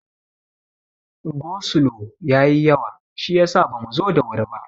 Go slo ya yi yawa shiyasa bamu zo da wuri ba.